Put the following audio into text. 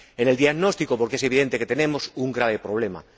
En el diagnóstico, porque es evidente que tenemos un grave problema.